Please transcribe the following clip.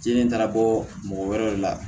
Jeli taara bɔ mɔgɔ wɛrɛ de la